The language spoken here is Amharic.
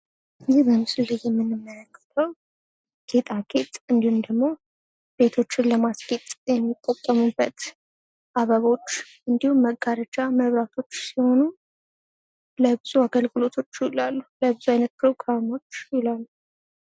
ይህ በምስሉ ላይ የምንመለከተው ጌጣጌጥ እንዲሁም ደግሞ ቤቶችን ለማስጌጥ የምንጠቀምበት አበባዎች እንዲሁም መጋረጃ መብራቶች ሲሆኑ ለብዙ አይነት አገልግሎት ይውላሉ። ለፕሮግራሞች ይውላል።